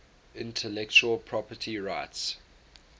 intellectual property rights